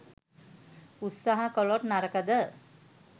උත්සහ කලොත් නරකද?